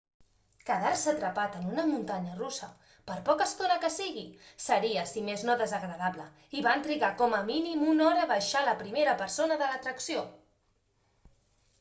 quedar-se atrapat en una muntanya russa per poca estona que sigui seria si més no desagradable i van trigar com a mínim una hora a baixar la primera persona de l'atracció